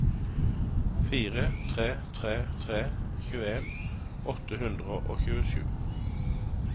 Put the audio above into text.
fire tre tre tre tjueen åtte hundre og tjuesju